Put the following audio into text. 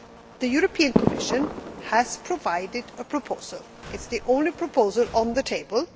The European Commission has provided a proposal. It is the only proposal on the table.